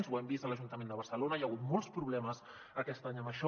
ho hem vist a l’ajunta·ment de barcelona hi ha hagut molts problemes aquest any amb això